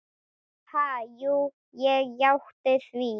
Ha, jú ég játti því.